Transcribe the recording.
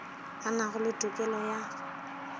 a nago le tokelo ya